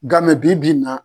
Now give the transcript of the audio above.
Gamɛ bi bi in na